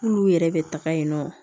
N'olu yɛrɛ bɛ taga yen nɔ